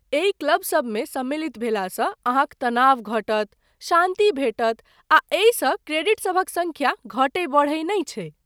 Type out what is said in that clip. एहि क्लब सबमे सम्मिलित भेलासँ अहाँक तनाव घटत, शान्ति भेटत आ एहिसँ क्रेडिट सभक सङ्ख्या घटैत बढ़ैत नहि छैक।